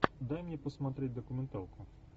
дай мне посмотреть документалку